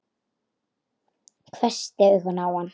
Hvessti augun á hann.